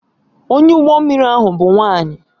Onye ụgbọ mmiri ahụ bụ nwanyị